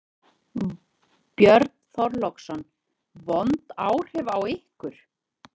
Björn Þorláksson: Vond áhrif á ykkur?